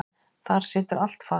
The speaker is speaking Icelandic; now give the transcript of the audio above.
Þar situr allt fast.